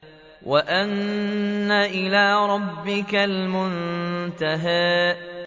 وَأَنَّ إِلَىٰ رَبِّكَ الْمُنتَهَىٰ